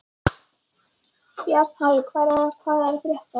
Bjarnharður, hvað er að frétta?